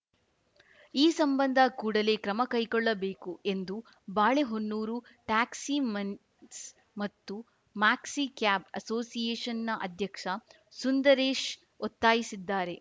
ಈ ಸಂಬಂಧ ಕೂಡಲೇ ಕ್ರಮಕೈಗೊಳ್ಳಬೇಕು ಎಂದು ಬಾಳೆಹೊನ್ನೂರು ಟ್ಯಾಕ್ಸಿಮೆನ್ಸ್‌ ಮತ್ತು ಮ್ಯಾಕ್ಸಿಕ್ಯಾಬ್‌ ಅಸೋಸಿಯೇಷನ್‌ನ ಅಧ್ಯಕ್ಷ ಸುಂದರೇಶ್‌ ಒತ್ತಾಯಿಸಿದ್ದಾರೆ